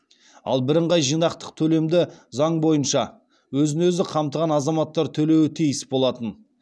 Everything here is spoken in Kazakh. ал бірыңғай жинақтық төлемді заң бойынша өзін өзі қамтыған азаматтар төлеуі тиіс болатын